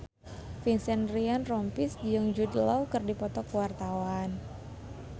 Vincent Ryan Rompies jeung Jude Law keur dipoto ku wartawan